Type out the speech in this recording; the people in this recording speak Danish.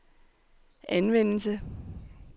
anvendelse